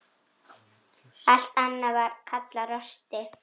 Allt annað var kallað rosti.